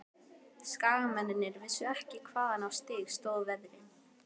Skagamennirnir vissu ekki hvaðan á sig stóð veðrið.